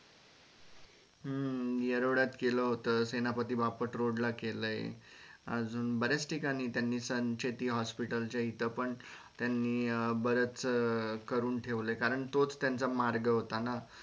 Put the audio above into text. हम्म येरवड्यात केल होतं सेनापती बापट road ला केल अजून बर्याच ठिकाणी त्यांनी sun hospital च्या इथ पण त्यांनी बरच करून ठेवलं कारण तो च त्यांचा मार्ग होता न